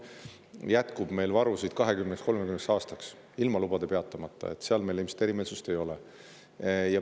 Meil jätkub varusid 20–30 aastaks, ilma lubasid peatamata, selles meil ilmselt erimeelsusi ei ole.